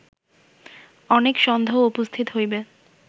অনেক সন্দেহ উপস্থিত হইবে